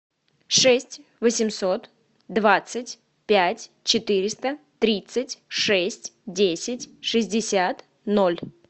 шесть восемьсот двадцать пять четыреста тридцать шесть десять шестьдесят ноль